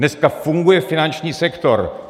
Dneska funguje finanční sektor.